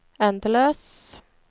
endeløs